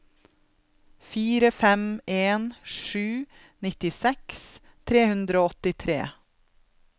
fire fem en sju nittiseks tre hundre og åttitre